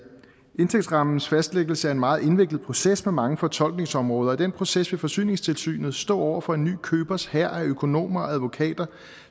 indtægtsrammens fastlæggelse er en meget indviklet proces med mange fortolkningsområder og i den proces vil forsyningstilsynet stå over for en ny købers hær af økonomer og advokater